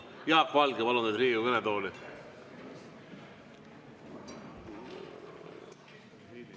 Jaak Valge, palun teid Riigikogu kõnetooli!